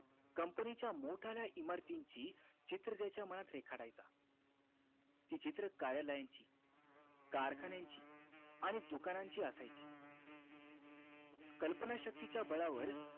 company च्या मोठ्याल्या इमारतींची चित्र त्याच्या मनात रेखाटायचा ती चित्र काळ्या line ची कारखान्यांची आणि दुकानाची असायची कल्पना शक्ती च्या बळावर